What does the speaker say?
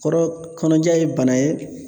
Kɔrɔ kɔnɔja ye bana ye